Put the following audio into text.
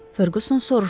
Ferquson soruşdu.